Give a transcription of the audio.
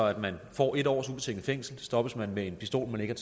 at man får en års ubetinget fængsel stoppes man med en pistol man ikke